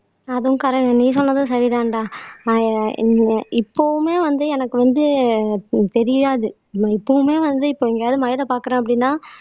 அதுவும் கர நீ சொன்னதும் சரிதான்டா ஆஹ் இ இப்பவுமே வந்து எனக்கு வந்து தெரியாது நான் இப்பவுமே வந்து இப்ப எங்கயாவது மழையில பாக்குறேன் அப்படின்னா